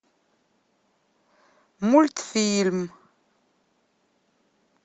мультфильм